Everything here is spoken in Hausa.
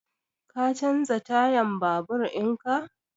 Ka canza tayan babur in ka?